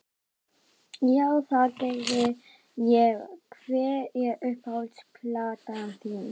Já, það geri ég Hver er uppáhalds platan þín?